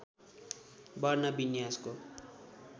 वर्ण विन्यासको